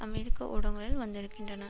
அமெரிக்க ஊடங்களில் வந்திருக்கின்றன